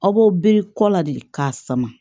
Aw bɛ biri kɔ la de k'a sama